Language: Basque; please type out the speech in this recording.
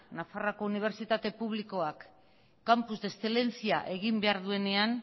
nafarroako unibertsitate publikoak campus de excelencia egin behar duenean